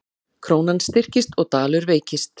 Krónan styrkist og dalur veikist